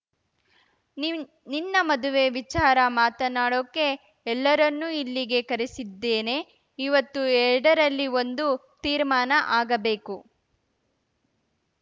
ನಿವ್ ನಿನ್ನ ಮದುವೆ ವಿಚಾರ ಮಾತನಾಡೋಕೆ ಎಲ್ಲರನ್ನು ಇಲ್ಲಿಗೆ ಕರೆಸಿದ್ದೇನೆ ಇವತ್ತು ಎರಡಲ್ಲಿ ಒಂದು ತೀರ್ಮಾನ ಆಗಬೇಕು